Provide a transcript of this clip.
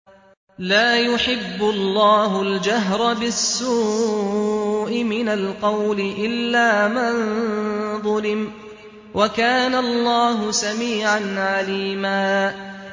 ۞ لَّا يُحِبُّ اللَّهُ الْجَهْرَ بِالسُّوءِ مِنَ الْقَوْلِ إِلَّا مَن ظُلِمَ ۚ وَكَانَ اللَّهُ سَمِيعًا عَلِيمًا